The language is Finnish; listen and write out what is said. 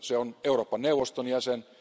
Se on Euroopan neuvoston jäsen.